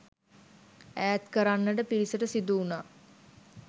ඈත් කරන්නට පිරිසට සිදුවුණා.